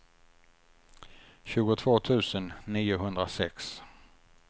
tjugotvå tusen niohundrasex